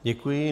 Děkuji.